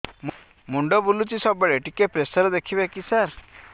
ମୁଣ୍ଡ ବୁଲୁଚି ସବୁବେଳେ ଟିକେ ପ୍ରେସର ଦେଖିବେ କି ସାର